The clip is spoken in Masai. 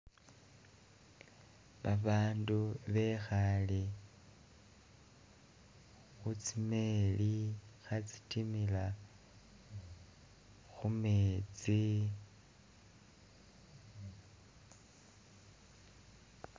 Babandu bekhale khutsi meli khatsitimila khumetsi